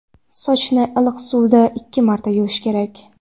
Sochni iliq suvda ikki marta yuvish kerak.